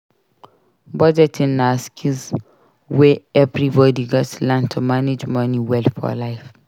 Budgeting na skill wey everybody gats learn to manage money well for life.